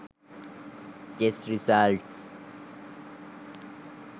chess results